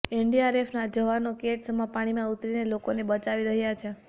એનડીઆરએફના જવાનો કેડ સમા પાણીમાં ઉતરીને લોકોને બચાવી રહ્યાં છે